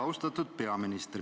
Austatud peaminister!